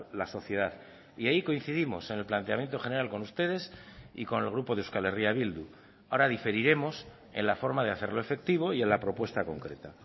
la sociedad y ahí coincidimos en el planteamiento general con ustedes y con el grupo de euskal herria bildu ahora diferiremos en la forma de hacerlo efectivo y en la propuesta concreta